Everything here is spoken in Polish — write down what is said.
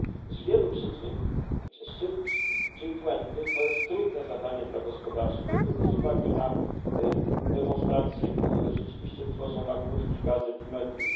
Z wielu przyczyn szczyt G 20 jest trudnym zadaniem dla gospodarzy, nie tylko z uwagi na demonstracje, które rzeczywiście tworzą nagłówki gazet i mediów.